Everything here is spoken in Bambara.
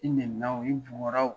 I nɛni na wo,, i bugora wo.